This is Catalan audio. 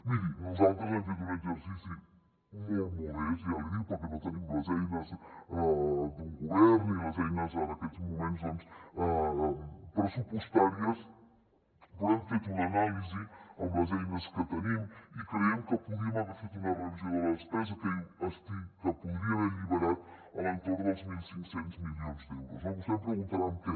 miri nosaltres hem fet un exercici molt modest ja l’hi dic perquè no tenim les eines d’un govern ni les eines en aquests moments doncs pressupostàries però hem fet una anàlisi amb les eines que tenim i creiem que podíem haver fet una revisió de la despesa que podria haver alliberat a l’entorn dels mil cinc cents milions d’euros no vostè em preguntarà en què